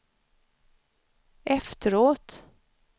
efteråt